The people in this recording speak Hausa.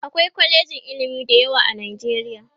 akwai kwalejin ilimi da yawa a nijeriya